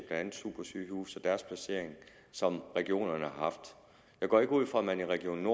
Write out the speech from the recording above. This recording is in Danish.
andet supersygehuse og deres placering som regionerne har haft jeg går ikke ud fra at man i region